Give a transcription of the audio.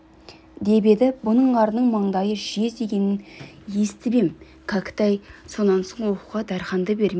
деп еді бұның арының маңдайы жез деп дегенін естіп ем кәкітай сонан соң оқуға дарханды бермей